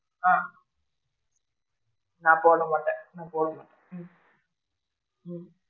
ஆ நான் போட மாட்டேன், நான் போடல ஹம்